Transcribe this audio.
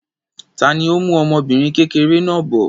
Ta ni ó mú ọmọbìnrin kékeré náà bọ̀?